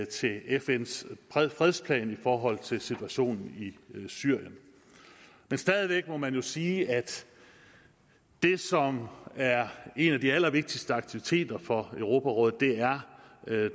til fns fredsplan i forhold til situationen i syrien men stadig væk må man jo sige at det som er en af de allervigtigste aktiviteter for europarådet er